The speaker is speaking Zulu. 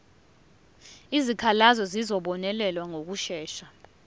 izikhalazo zizobonelelwa ngokushesha